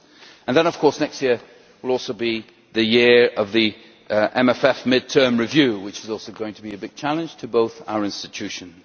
And then, of course, next year will also be the year of the MFF mid term review, which is also going to be a big challenge for both our institutions.